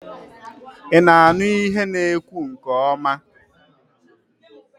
I na-aṅụ ihe na ekwu nke ọma?